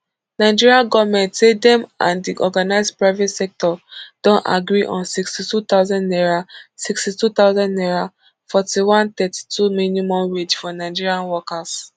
nigeria goment say dem and di organised private sector don agree on sixty-two thousand naira sixty-two thousand naira forty-one thirty-two minimum wage for nigeria workers